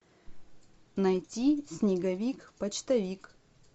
найти снеговик почтовик